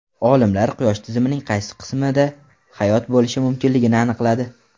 Olimlar Quyosh tizimining qaysi qismida hayot bo‘lishi mumkinligini aniqladi.